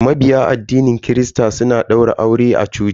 Mabiya addinin christa suna daura aure a coci.